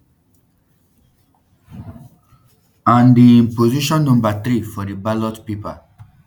and um im position number three for di ballot paper